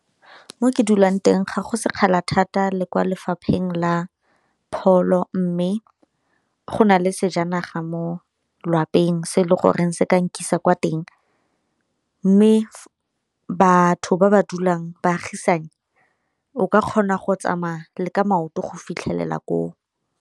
Ko ke dulang teng ga go sekgala thata le kwa lefapheng la pholo, mme go na le sejanaga mo lwapeng se e le goreng se ka nkisa kwa teng. Mme batho ba ba dulang baagisane o ka kgona go tsamaya le ka maoto go fitlhelela koo.